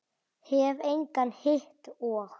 Hef engan hitt og.